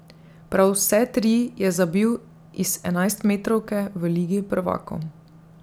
Prav vse tri je zabil iz enajstmetrovke v ligi prvakov.